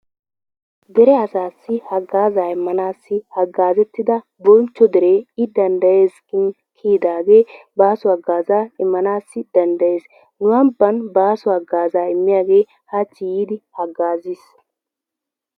Deree asassi hagaza immanassi hagazettida, boncho deree i dandayees giddin kiyidaage basoo hagaza immanawu dandayees, nu amban baso hagazzaa imiyagge hachi yiddi hagaziss.